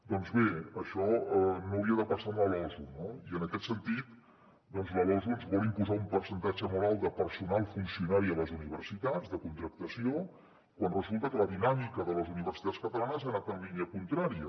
doncs bé això no hauria de passar amb la losu no i en aquest sentit la losu ens vol imposar un percentatge molt alt de personal funcionari a les universitats de contractació quan resulta que la dinàmica de les universitats catalanes ha anat en línia contrària